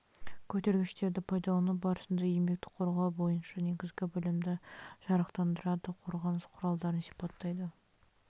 көтергіштері пайдалану барысында еңбекті қорғау бойынша негізгі білімді жарықтандырады қорғаныс құралдарын сипаттайды